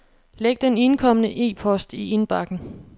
Læg den indkomne e-post i indbakken.